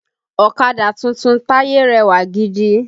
Ọ̀kadà tuntun Taye rẹwà gidi